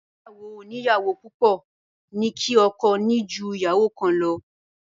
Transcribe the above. Ìgbéyàwó oníyàwó púpọ̀ ní kí ọkọ ní jú ìyàwó kan lọ.